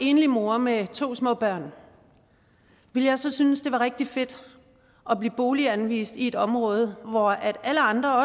enlig mor med to små børn ville jeg så synes det var rigtig fedt at blive boliganvist til et område hvor alle andre